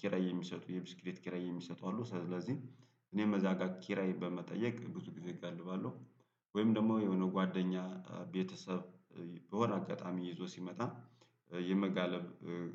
ኪራይ የሚሰጡ የብስክሌት ኪራይ የሚሰጡ አሉ። ስለዚህ እኔ እዘጋ ኪራይ በመጠየቅ ብዙ ጊዜ እገልባለሁ። ወይም ደግሞ የሆነ ጓደኛ ቤተሰብ በሆነ አጋጣሚ ይዞ ሲመጣ የመጋለብ